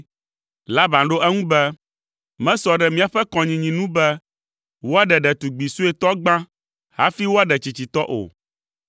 Laban ɖo eŋu be, “Mesɔ ɖe míaƒe kɔnyinyi nu be woaɖe ɖetugbi suetɔ gbã hafi woaɖe tsitsitɔ o.